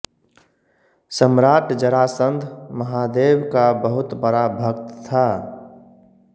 सम्राट जरासंध महादेव का बहुत बड़ा भक्त था